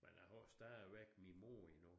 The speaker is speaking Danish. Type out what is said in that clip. Men jeg har stadigvæk min mor endnu